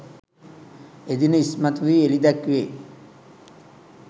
එදින ඉස්මතු වී එළිදැක්වේ.